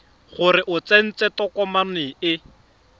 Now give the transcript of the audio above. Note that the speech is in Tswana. gore o tsentse tokomane e